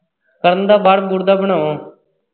ਕਰਨ ਦਾ ਬਾਹਰ ਬੁਹਰ ਦਾ ਬਣਾਉਣ।